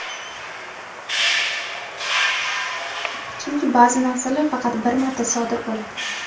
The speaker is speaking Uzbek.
chunki baʼzi narsalar faqat bir marta sodir bo‘ladi.